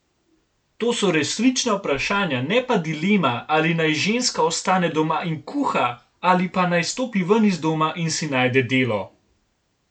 To so resnična vprašanja ne pa dilema, ali naj ženska ostane doma in kuha ali pa naj stopi ven iz doma in si najde delo.